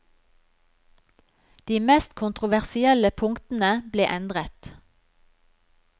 De mest kontroversielle punktene ble endret.